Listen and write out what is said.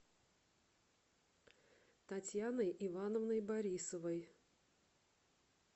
татьяной ивановной борисовой